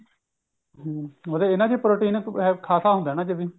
ਹਮ ਅਰ ਇਹਨਾਂ ਚ protein ਖਾਸਾ ਹੁੰਦਾ ਐ ਨਾ